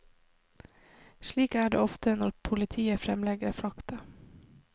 Slik er det ofte, når politiet fremlegger fakta.